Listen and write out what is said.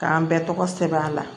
K'an bɛɛ tɔgɔ sɛbɛn a la